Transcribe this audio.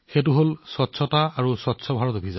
এয়া হৈছে পৰিষ্কাৰপৰিচ্ছন্নতা আৰু স্বচ্ছ ভাৰত